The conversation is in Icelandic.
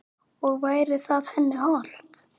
Og væri það henni hollt?